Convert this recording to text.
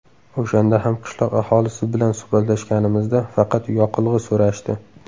O‘shanda ham qishloq aholisi bilan suhbatlashganimizda faqat yoqilg‘i so‘rashdi.